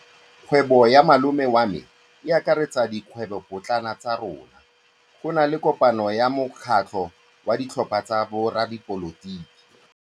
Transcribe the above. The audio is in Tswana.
Kgwêbô ya malome wa me e akaretsa dikgwêbôpotlana tsa rona. Go na le kopanô ya mokgatlhô wa ditlhopha tsa boradipolotiki.